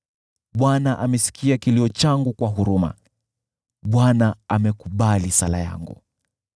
Bwana amesikia kilio changu kwa huruma, Bwana amekubali sala yangu.